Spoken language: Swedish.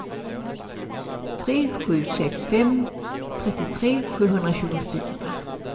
tre sju sex fem trettiotre sjuhundratjugofyra